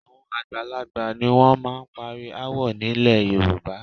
Àwọn àgbàlagbà ni wọ́n máa ń parí aáwọ̀ nílẹ̀ Yorùbá